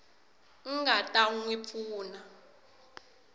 nga ta n wi pfuna